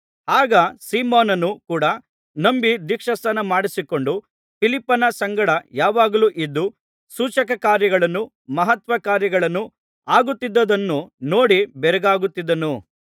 ಆಗ ಸೀಮೋನನೂ ಕೂಡ ನಂಬಿ ದೀಕ್ಷಾಸ್ನಾನಮಾಡಿಸಿಕೊಂಡು ಫಿಲಿಪ್ಪನ ಸಂಗಡ ಯಾವಾಗಲೂ ಇದ್ದು ಸೂಚಕಕಾರ್ಯಗಳೂ ಮಹತ್ಕಾರ್ಯಗಳೂ ಆಗುತ್ತಿದ್ದುದನ್ನು ನೋಡಿ ಬೆರಗಾಗುತ್ತಿದ್ದನು